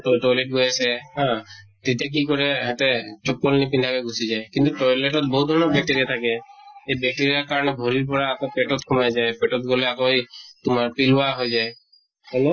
তই toilet গৈ আছে হা, তেতিয়া কি কৰে হেহেঁতে নিপিন্ধাকে গুছি যায় । কিন্তু toilet ত বহুত ধৰণৰ bacteria থাকে । সেই bacteria কাৰণ ভৰিৰ পৰা আকৌ পেটত সোমাই যায় । পেটত গʼলে আকৌ তোমাৰ পেলুৱা হৈ যায় । হয় নে ?